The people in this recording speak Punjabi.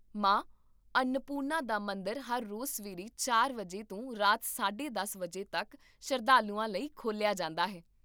ਮਾਂ ਅੰਨਪੂਰਨਾ ਦਾ ਮੰਦਰ ਹਰ ਰੋਜ਼ ਸਵੇਰੇ ਚਾਰ ਵਜੇ ਤੋਂ ਰਾਤ ਸਾਢੇ ਦਸ ਵਜੇ ਤੱਕ ਸ਼ਰਧਾਲੂਆਂ ਲਈ ਖੋਲ੍ਹਿਆ ਜਾਂਦਾ ਹੈ